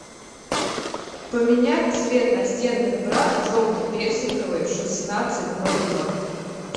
поменять цвет настенных бра желто персиковый в шестнадцать ноль ноль